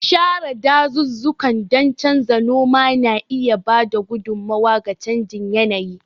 Share dazuzzukan don canza noma na iya ba da gudummawa ga canjin yanayi.